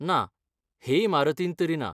ना, हे इमारतींत तरी ना.